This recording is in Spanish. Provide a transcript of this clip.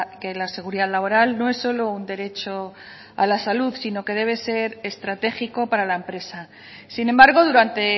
que la seguridad laboral no es solo un derecho a la salud sino que debe ser estratégico para la empresa sin embargo durante